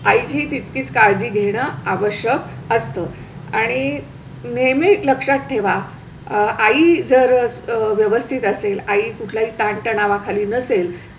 आईचीही तितकीच काळजी घेणं आवश्यक असतं आणि नेहमी लक्षात ठेवा. आई जर व्यवस्थित असेल आई कुठला ही ताणतणावाखाली नसेल